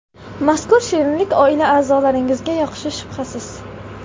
Mazkur shirinlik oila a’zolaringizga yoqishi shubhasiz.